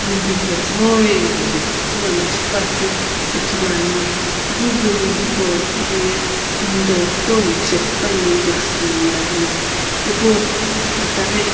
building metsughoi ajeli kuthu lono shipuakeu ithuluani ipu building hipau vu loye window kutomo shiphe puani glass na mlla vena ipu itaghe.